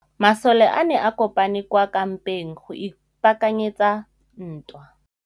Masole a ne a kopane kwa kampeng go ipaakanyetsa ntwa.